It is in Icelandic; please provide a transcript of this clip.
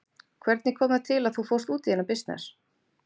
Hvernig kom það til að þú fórst út í þennan bisness?